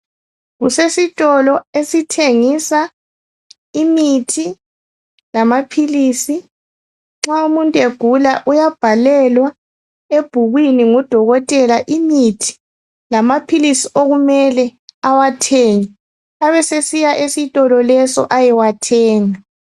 Kusesitolo esithengisa imithi lamaphilisi. Nxa umuntu egula uyabhalelwa ebhukwini ngudokotela imithi lamaphilisi okumele awathenge abesesiya esitolo lesi awathenge.